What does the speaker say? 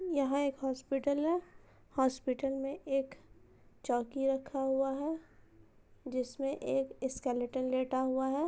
यहां एक हॉस्पिटल हैहॉस्पिटल में एक चौकी रखा हुआ है जिसमें एक स्कलटन लेटा हुआ है।